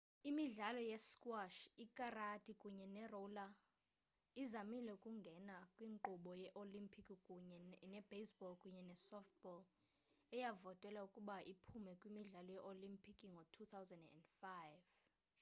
imidlalo ye-squash ikarati kunye ne-roller izamile ukungena kwinkqubo ye-olimpiki kunye ne-baseball kunye ne-softball eyavotelwa ukuba iphume kwimidlalo ye-olimpiki ngo-2005